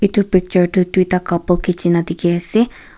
itu picture tu duita couple kichina dikhi ase.